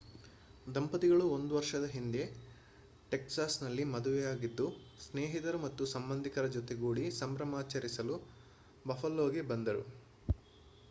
ದಂಪತಿಗಳು ಒಂದು ವರ್ಷದ ಹಿಂದೆ ಟೆಕ್ಸಾಸ್‌ನಲ್ಲಿ ಮದುವೆಯಾಗಿದ್ದು ಸ್ನೇಹಿತರು ಮತ್ತು ಸಂಬಂಧಿಕರ ಜೊತೆಗೂಡಿ ಸಂಭ್ರಮಾಚರಿಸಲು ಬಫಲೋಗೆ ಬಂದರು